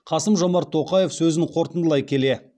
қасым жомарт тоқаев сөзін қорытындылай келе